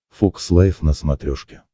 фокс лайв на смотрешке